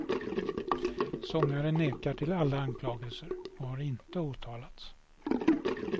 Sångaren nekar till alla anklagelser, och har inte åtalats.